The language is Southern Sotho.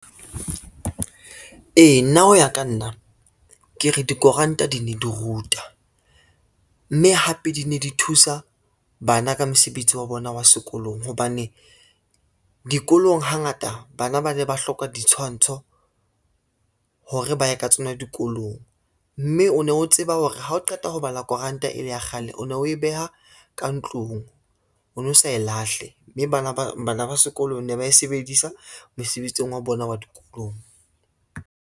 Ee, nna ho ya ka nna, ke re dikuranta di ne di ruta, mme hape di ne di thusa bana ka mesebetsi ya bona ya sekolong, hobane dikolong hangata bana ba ne ba hloka ditshwantsho, hore ba ye ka tsona dikolong. Mme o ne o tseba hore hao qeta ho bala kuranta e la ya kgale o no e beha ka ntlung o no sa e lahle, mme bana ba sekolo ne ba e sebedisa mesebetsing wa bona wa dikolong.